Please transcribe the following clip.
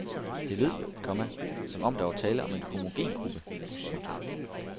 Det lød, komma som om der var tale om en homogen gruppe. punktum